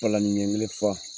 Palanni ɲɛkelen fa